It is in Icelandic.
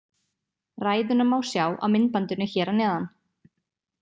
Ræðuna má sjá á myndbandinu hér að neðan.